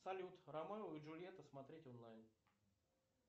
салют ромео и джульетта смотреть онлайн